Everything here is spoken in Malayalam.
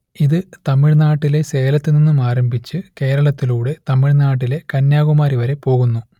ഇത് തമിഴ് നാട്ടിലെ സേലത്തുനിന്നും ആരംഭിച്ച് കേരളത്തിലൂടെ തമിഴ് നാട്ടിലെ കന്യാകുമാരി വരെ പോകുന്നു